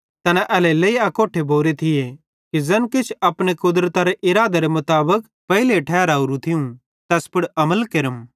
तैना एल्हेरेलेइ अकोट्ठे भोरे थिये कि ज़ैन किछ तू अपनी कुदरतारो इरादेरे मुताबिक पेइले तैनी ठहरावरू थियूं तैस पुड़ अमल केरम